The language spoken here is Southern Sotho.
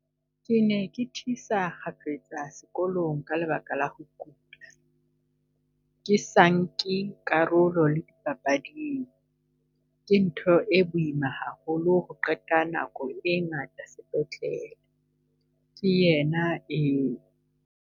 "Ke ne ke thisa kgafetsa sekolong ka lebaka la ho kula, ke sa nke karolo le dipapading. Ke ntho e boima haholo ho qeta nako e ngata sepetlele," ke yena eo.